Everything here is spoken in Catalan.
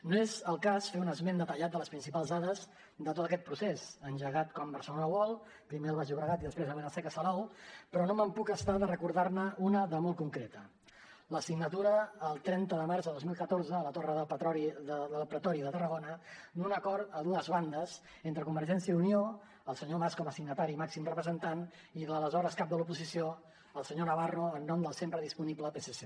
no és el cas fer un esment detallat de les principals dades de tot aquest procés engegat com a barcelona world primer al baix llobregat i després a vila seca salou però no em puc estar de recordar ne una de molt concreta la signatura el trenta de març de dos mil catorze a la torre del pretori de tarragona d’un acord a dues bandes entre convergència i unió el senyor mas com a signatari i màxim representant i l’aleshores cap de l’oposició el senyor navarro en nom del sempre disponible psc